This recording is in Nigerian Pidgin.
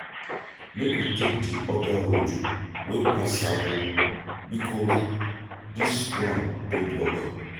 Make we take di oda road wey pass Sabo, bikos dis one don block.